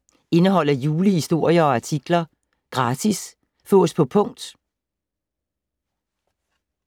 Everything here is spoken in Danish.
Indeholder julehistorier og artikler. Gratis Fås på punkt